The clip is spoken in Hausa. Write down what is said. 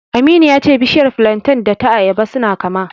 Aminu ya ce bishiyar filanten da ta ayaba suna kama.